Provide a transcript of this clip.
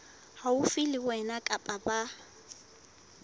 haufi le wena kapa ba